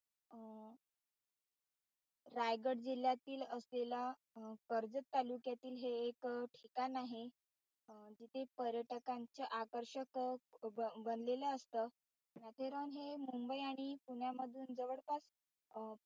रायगड जिल्ह्यातिल असलेला कर्जत तालुक्यातील हे एक ठिकाण आहे जिथे पर्यटकांचे आकर्षक अं बनलेलं असत माथेरान हे मुंबई आणि पुण्यामधून जवळपास अं